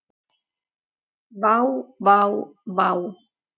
Vá vá vá.